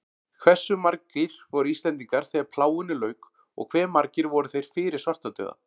Hversu margir voru Íslendingar þegar plágunni lauk og hve margir voru þeir fyrir svartadauða?